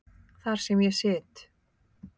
Þar sem ég sit.